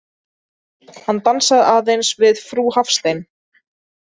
Hann dansaði aðeins við frú Hafstein.